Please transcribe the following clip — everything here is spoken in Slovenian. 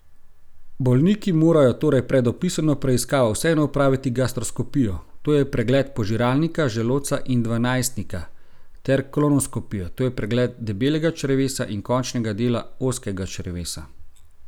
Bolniki morajo torej pred opisano preiskavo vseeno opraviti gastroskopijo, to je pregled požiralnika, želodca in dvanajstnika, ter kolonoskopijo, to je pregled debelega črevesa in končnega dela ozkega črevesa.